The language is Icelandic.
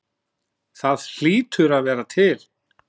Það hlýtur að vera til?